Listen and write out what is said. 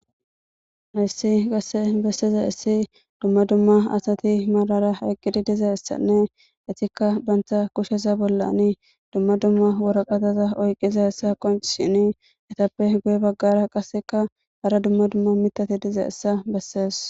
Hayssi qasse besseza issi dumma dumma asati malara aqqidi diza issanne itikka bantha kusheza bollani dumma dumma woraqataza oyqiza hessa qon shini etappe guye baggara qasseka hara dumma dumma mitati diza issa bessees.